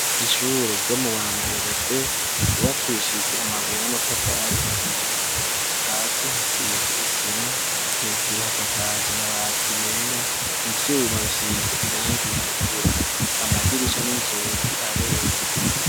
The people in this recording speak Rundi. Ishure ryo mu wa mbere be rwwakishijwe amabuye n'amatafari ahiwe hasi hasize isima hejuru hasakaje amabati yera ivyuma bisize irangi ritukura amadirisha n'inzuki arera.